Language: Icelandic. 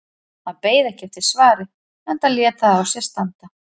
Hann beið ekki eftir svari enda lét það á sér standa.